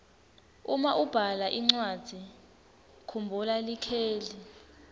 uma ubhala incwadzi kumbhula likheli